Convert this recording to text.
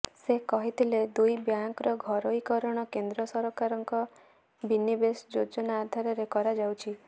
ସେ କହିଥିଲେ ଦୁଇ ବ୍ୟାଙ୍କର ଘରୋଇକରଣ କେନ୍ଦ୍ର ସରକାରଙ୍କ ବିନିବେଶ ଯୋଜନା ଆଧାରରେ କରାଯାଉଛି